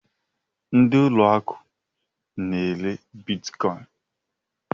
Ndị ụlọ akụ n'ere bitkọin